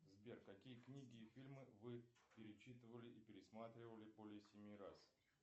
сбер какие книги и фильмы вы перечитывали и пересматривали более семи раз